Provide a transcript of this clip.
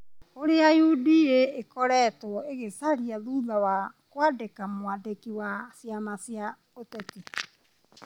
ũrĩa UDA ĩkoretwo ĩgĩcaria thutha wa kwandĩkĩra mwandĩki wa ciama cia ũteti ,